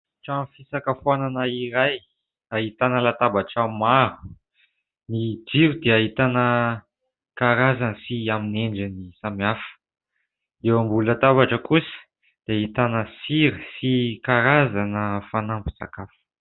Trano fisakafoanana iray ahitana latabatra maro. Ny jiro dia ahitana karazany sy amin'ny endriny samihafa. Eo ambony latabatra kosa dia ahitana sira sy karazana fanampin-tsakafo.